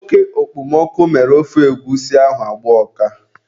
Oke okpomọkụ mere ofe egwusi ahụ agbaa ụka.